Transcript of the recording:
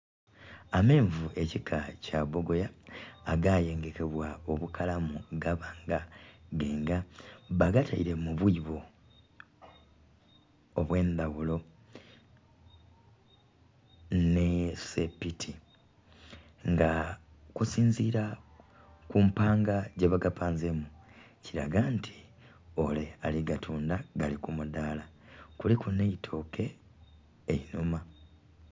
Amenvu ekika kya bogoya agayengekebwa obukalamu gaba nga genga bagateire mu bwibo obwendaghulo nesepiki nga okusinzira ku mpanga gye bagapanzemu, kiraga nti ole ali batundha gali ku mudaala kuliku neitooke einuma.